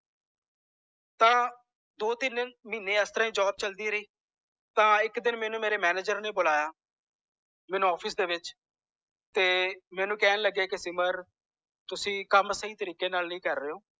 ਤਾਂ ਦੋ ਤਿਨ ਮਹੀਨੇ ਇਸ ਤਰਾਹ ਹੀ job ਚਲਦੀ ਰਹੀ ਤਾਂ ਇਕ ਦਿਨ ਮੈਨੂੰ ਮੇਰੇ manager ਨੇ ਬੁਲਾਇਆ ਮੈਨੂੰ office ਦੇ ਵਿਚ ਮੈਨੂੰ ਕਹਿਣ ਲੱਗਿਆ ਕੇ ਸਿਮਰ ਤੁਸੀ ਕਮ ਸਹੀ ਤਰੀਕੇ ਨਾਲ ਨੀ ਕਰ ਰਹੇ ਓ